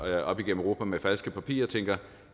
op igennem europa med falske papirer tænker